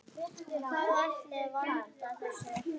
Hvað ætli valdi þessu?